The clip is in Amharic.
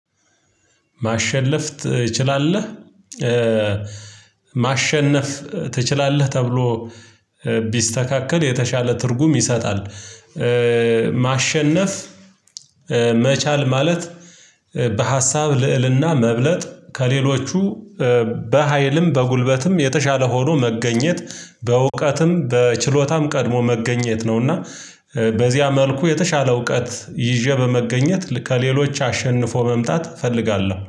"ማሸነፍ ትችላለህ?" ማሸነፍ ትችላለህ? ተብሎ ቢስተካከል የተሻለ ትርጉም ይሰጣል። ማሸነፍ ማለት በሀሳብ ልዕልና መብለጥ፤ ከሌሎቹ በሃይልም በጉልበትም የተሻለ ሆኖ መገኘት፤ በእውቀትም በችሎታም ቀድሞ መገኘት ነው። እና በዚያ መልኩ የተሻለ እውቀት ይዤ በመገኘት ከሌሎች አሸንፎ መምጣት እፈልጋለሁ።